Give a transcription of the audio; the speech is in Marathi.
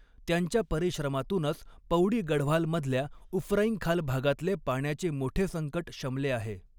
त्यांच्या परिश्रमातूनच पौड़ी गढ़वाल मधल्या उफरैंखाल भागातले पाण्याचे मोठे संकट शमले आहे.